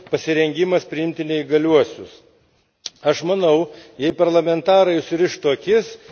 Kitas svarbus aspektas Europos Sąjungos institucijų pasirengimas priimti neįgaliuosius.